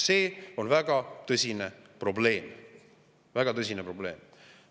See on väga tõsine probleem, väga tõsine probleem!